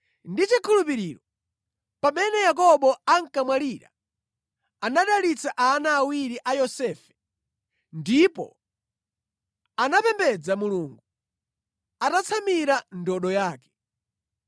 Ndi chikhulupiriro, pamene Yakobo ankamwalira anadalitsa ana awiri a Yosefe, ndipo anapembedza Mulungu atatsamira ndodo yake.